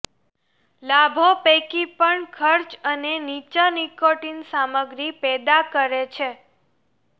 લાભો પૈકી પણ ખર્ચ અને નીચા નિકોટિન સામગ્રી પેદા કરે છે